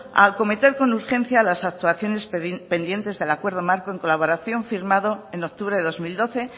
a acometer con urgencia las actuaciones pendientes del acuerdo marco en colaboración firmado en octubre de dos mil doce